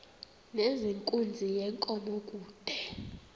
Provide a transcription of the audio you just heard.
nezenkunzi yenkomo kude